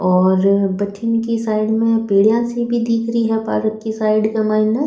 और बठीन की साइड में पेडिया सी दिखरी है पार्क की साइड के मायने।